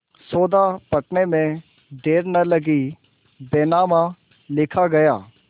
सौदा पटने में देर न लगी बैनामा लिखा गया